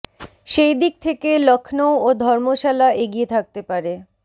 সেই দিক থেকে লখনউ ও ধর্মশালা এগিয়ে থাকতে পারে